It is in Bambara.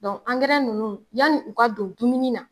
nunnu yanni u ka don dumuni na